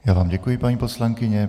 Já vám děkuji, paní poslankyně.